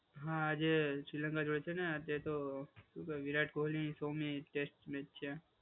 હા, આજે શ્રીલંકા જોડે છે ને આજે તો શું કે વિરાટ કોહલી સોમી ટેસ્ટ મેચ છે.